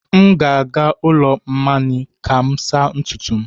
M na-aga ụlọ mmany ka m saa ntutu m